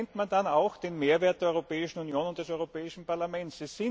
Da erkennt man dann auch den Mehrwert der Europäischen Union und des Europäischen Parlaments.